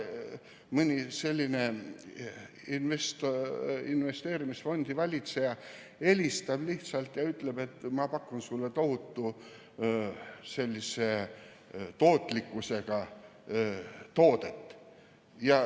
Mõni selline investeerimisfondi valitseja helistab lihtsalt ja ütleb, et ma pakun sulle tohutu tootlikkusega toodet.